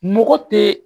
Mɔgɔ tɛ